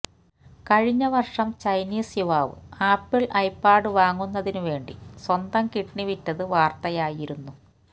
കഴിഞ്ഞ വര്ഷം ചൈനീസ് യുവാവ് ആപ്പിള് ഐപാഡ് വാങ്ങുന്നതിന് വേണ്ടി സ്വന്തം കിഡ്നി വിറ്റത് വാര്ത്തയായിരുന്നു